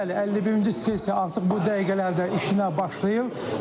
Bəli, 51-ci sessiya artıq bu dəqiqələrdə işinə başlayır.